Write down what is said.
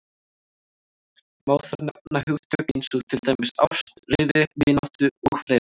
Má þar nefna hugtök eins og til dæmis ást, reiði, vináttu og fleira.